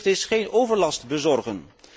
De eerste plicht is geen overlast bezorgen.